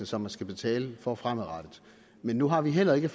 som man skal betale for fremadrettet men nu har vi heller ikke